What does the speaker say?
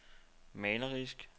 malerisk